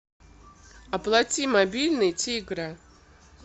оплати мобильный тигра